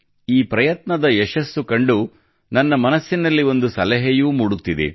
ಈ ಪ್ರಯತ್ನದ ಯಶಸ್ಸು ಕಂಡು ನನ್ನ ಮನಸ್ಸಿನಲ್ಲಿ ಒಂದು ಸಲಹೆಯೂ ಮೂಡುತ್ತಿದೆ